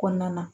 Kɔnɔna na